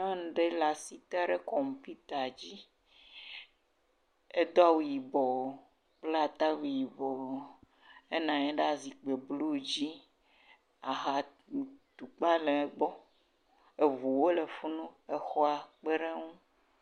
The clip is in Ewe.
Nyɔnu ɖe le asi tem ɖe kɔmpita dzi. Edo awu yibɔ kple atawui yibɔ henɔ anyi ɖe zikpui blu dzi. Ahatukpa le egbɔ. Ŋuwo le funu ŋu hã le egbɔ.